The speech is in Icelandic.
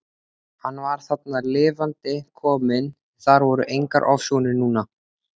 Hann var þarna lifandi kominn, það voru engar ofsjónir núna!